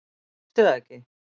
Veistu það ekki?